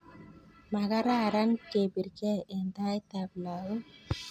makararam kepirkei eng taitab lakok